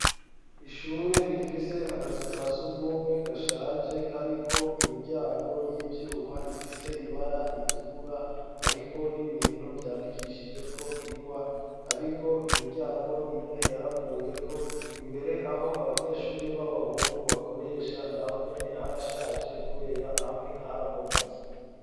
Ishure rifise akazu ka surwumwe gashaje kariko imiryango y'ivyuma ifise ibara ritukura, hariko n'ibintu vyandikishijeko ingwa, hariko imiryango. Imwe yaravuyeko imbere aho abanyeshuri b'abahungu bakoresha nahonyene harashaje kubera hamwe harabomotse.